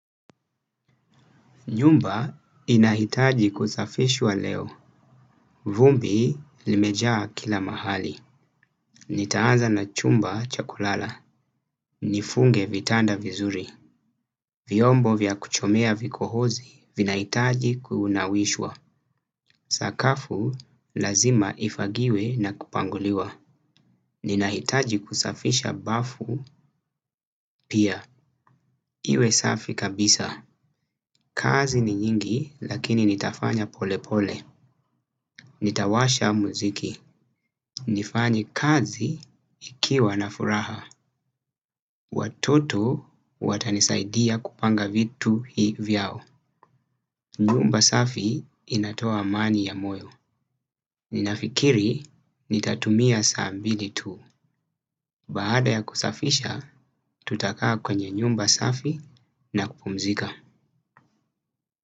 Nyumba inahitaji kusafishwa leo. Vumbi limejaa kila mahali. Nitaanza na chumba chakulala. Nifunge vitanda vizuri. Vyombo vya kuchomea vikohozi vinahitaji kunawishwa. Sakafu lazima ifagiwe na kupanguliwa. Ninahitaji kusafisha bafu pia. Iwe safi kabisa. Kazi ni nyingi lakini nitafanya pole pole. Nitawasha muziki. Nifanye kazi nikiwa na furaha. Watoto watanisaidia kupanga vitu hii vyao. Nyumba safi inatoa amani ya moyo. Ninafikiri nitatumia saa mbili tu. Baada ya kusafisha, tutakaa kwenye nyumba safi na kupumzika.